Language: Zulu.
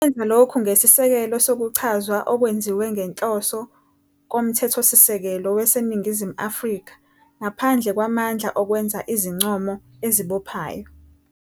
Ikwenza lokhu ngesisekelo sokuchazwa okwenziwe ngenhloso koMthethosisekelo waseNingizimu Afrika, ngaphandle kwamandla okwenza izincomo ezibophayo,